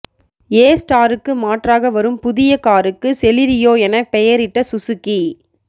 ஏ ஸ்டாருக்கு மாற்றாக வரும் புதிய காருக்கு செலிரியோ என பெயரிட்ட சுஸுகி